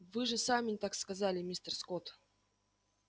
вы же сами так сказали мистер скотт